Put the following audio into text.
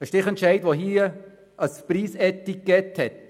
Der Stichentscheid hat vorliegend ein Preisetikett.